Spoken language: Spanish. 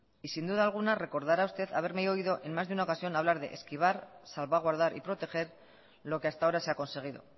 y sin duda alguna recordará usted haberme oído en más de una ocasión hablar de esquivar salvaguardar y proteger lo que hasta ahora se ha conseguido